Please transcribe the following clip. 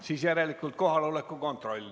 Siis järelikult kohaloleku kontroll.